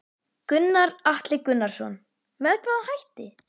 Gunnar Atli Gunnarsson: Með hvaða hætti?